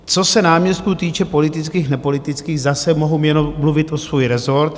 Co se náměstků týče - politických, nepolitických - zase mohu jenom mluvit o svůj resort.